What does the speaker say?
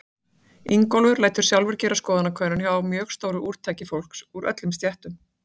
Ingólfur lætur sjálfur gera skoðanakönnun hjá mjög stóru úrtaki fólks úr öllum stéttum.